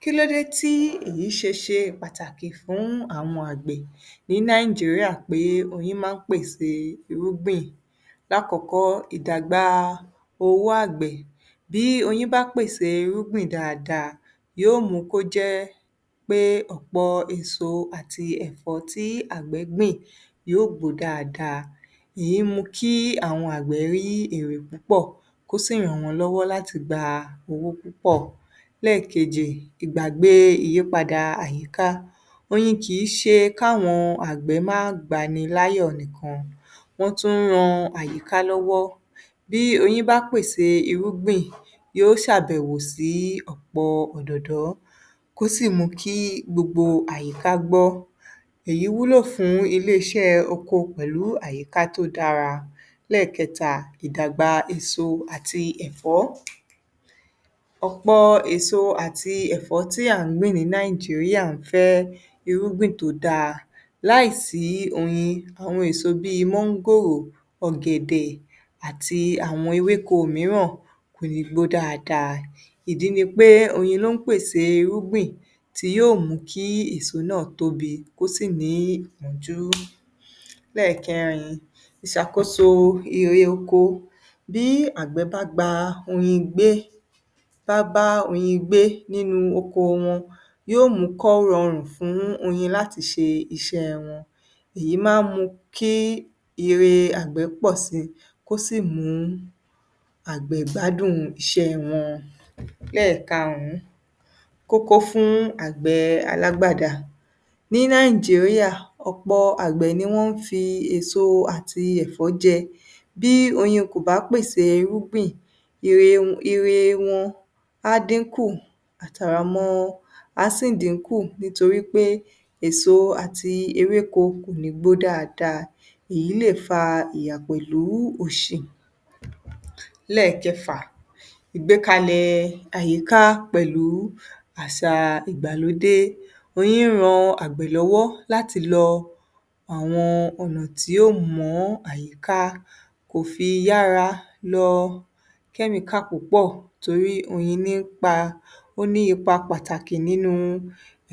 Kílódé tí èyí ṣe ṣe pàtàkì fún àwọn àgbẹ̀ ní Nàìjíríà pé oyin máa ń pèsè irúgbìn. Lákọ̀ọ́kọ́, ìdàgbà owó àgbẹ̀. Bí oyin bá pèsè irúgbìn dáadáa, yóò mú kó jẹ́ pé ọ̀pọ̀ èso àti ẹ̀fọ́ tí àgbẹ̀ gbìn yó gbó dáadáa. Ìyí mú kí àwọn àgbẹ̀ rí èrè púpọ̀ kó sì ràn wọ́n lọ́wọ́ láti gba owó púpọ̀. Lẹ́ẹ̀kejì, ìgbàgbé ìyípadà àyíká. Oyin kìí ṣe káwọn àgbẹ̀ má gbani láyọ̀ nìkan, wọ́n tún ń ran àyíká lọ́wọ́. Bí oyin bá pèsè irúgbìn, yó ṣàbẹ̀wò sí ọ̀pọ̀ òdòdó, kó sì mú kí gbogbo àyíká gbọ́. Èyí wúlò fún ilé-iṣẹ́ oko pẹ̀lú àyíká tó dára. Lẹ́ẹ̀kẹta, ìdàgbà èso àti ẹ̀fọ́. Ọ̀pọ̀ èso àti ẹ̀fọ́ tí à ń gbìn ní Nàìjíríà ń fẹ́ irúgbìn tó dáa. Láì sí oyin, àwọn èso bíi mángòrò, ọ̀gẹ̀dẹ̀, àti àwọn ewéko mìíràn kò lè gbó dáadáa. Ìdí ni pé oyin ló ń pèsè irúgbìn tí yóò mú kí èso náà tóbi kó sì ní ìpọ́njú. Lẹ́ẹ̀kẹrin, ìṣàkóso ire oko. Bí àgbẹ̀ bá gba oyin gbé, bá bá oyin gbé nínú oko wọn, yó mú kọ́ rọrùn fún oyin láti ṣe iṣẹ́ wọn. Èyí máa ń kí ire àgbẹ̀ pọ̀ síi, kó sì mú àgbẹ̀ gbádùn iṣẹ́ wọn. Lẹ́ẹ̀karùn-ún, kókó fún àgbẹ̀ alágbádà. Ní Nàìjíríà, ọ̀pọ̀ àgbẹ̀ ni wọ́n ń fi èso àti ẹ̀fọ́ jẹ. Bí oyin kò bá pèsè irúgbìn, ire wọn á dín kù, àtàràmọ á sì dínkù nítorí pé èso àti ewéko kò ní gbó dáadáa. Èyí lè fa ìyà pẹ̀lú òṣì. Lẹ́ẹ̀kẹfà, ìgbékalẹ̀ àyíká pẹ̀lú àṣà ìgbàlódé. Oyin ń ran àgbẹ̀ lọ́wọ́ láti lọ àwọn ọ̀nà tí yóò mọ́ àyíká kò fi yára lọ kẹ́mìíkà púpọ̀ torí oyin ní ń pa, ó ní ipa pàtàkì nínujẹ́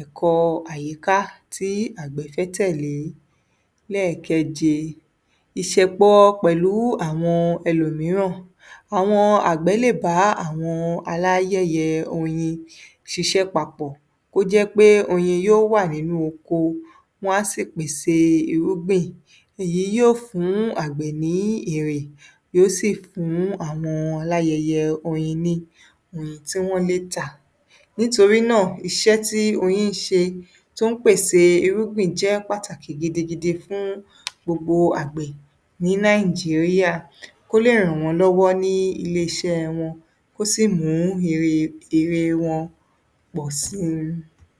ẹ̀kọ́ àyíká tí àgbẹ̀ fẹ́ tẹ̀lé. Lẹ́ẹ̀keje, ìṣẹ̀pọ̀ pẹ̀lú àwọn ẹlòmìíràn. Àwọn àgbẹ̀ lè bá àwọn aláyẹyẹ oyin ṣiṣẹ́ papọ̀, kó jẹ́ pé oyin yó wà nínú oko, wọ́n á sì pèsè irúgbìn. Èyí yóò fún àgbẹ̀ ní èrè, yó sì fún àwọn aláyẹyẹ oyin ní oyin tí wọ́ lè tà. Nítorí náà, iṣẹ́ tí oyin ń ṣe, tó ń pèsè irúgbìn jẹ́ pàtàkì gidigidi fún gbogbo àgbẹ̀ ní Nàìjíríà kó lè ràn wọ́n lọ́wọ́ ní ilé-iṣẹ́ wọn, kó sì mú èrè, èrè wọn pọ̀ síi.